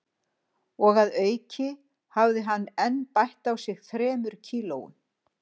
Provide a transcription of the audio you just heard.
Og að auki hafði hann enn bætt á sig þremur kílóum